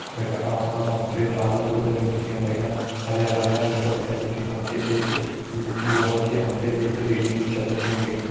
वैका आस पास हम ते डाला बुर्ता भी दिखेण लग्यां हरयां हरयां वैका भैर बिटि हम ते एक ल-लोहा की हम ते एक रेलिंग भी छा दिखेण लगीं।